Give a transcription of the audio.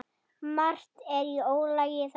Margt er í ólagi þarna.